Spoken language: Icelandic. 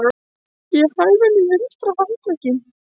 Ég hæfi hann í vinstri handlegginn.